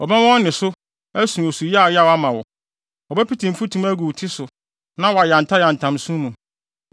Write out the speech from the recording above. Wɔbɛma wɔn nne so asu osu yaayaw ama wo; wɔbɛpete mfutuma agu wɔn ti so na wɔayantayantam nsõ mu.